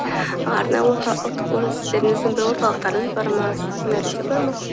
арна орта бір орталықтарыңыз бар ма бар ма